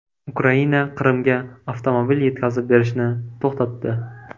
Ukraina Qrimga avtomobil yetkazib berishni to‘xtatdi.